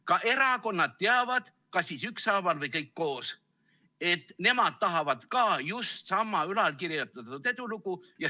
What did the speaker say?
Ka erakonnad teavad, kas siis ükshaaval või kõik koos, et nemad tahavad ka just sama ülalkirjeldatud edulugu.